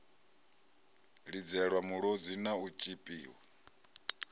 lidzelwa mulodzi na u tshipiwa